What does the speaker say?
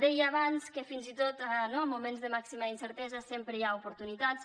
deia abans que fins i tot no en moments de màxima incertesa sempre hi ha oportunitats